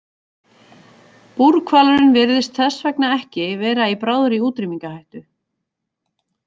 Búrhvalurinn virðist þess vegna ekki vera í bráðri útrýmingarhættu.